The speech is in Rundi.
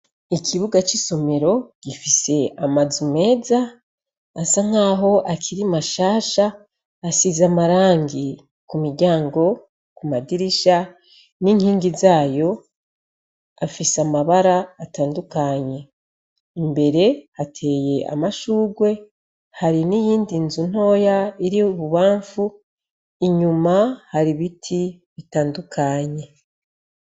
Ikibuga c'isomero gifise amazu meza asa nk'aho akiri mashasha asize amarangi ku miryango ku madirisha n'inkingi zayo afise amabara atandukanye imbere hateye amashurwe harini yindi nzu ntoya iri bubamfu inyuma hari ibiti bitandukanye.